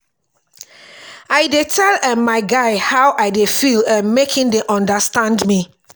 i dey tell um my guy how i dey feel um make im dey understand me.